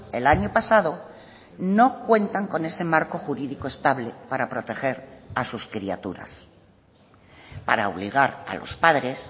el año pasado no cuentan con ese marco jurídico estable para proteger a sus criaturas para obligar a los padres